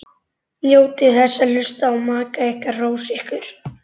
Njótið þess að hlusta á maka ykkar hrósa ykkur.